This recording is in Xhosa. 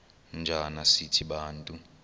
njana sithi bantu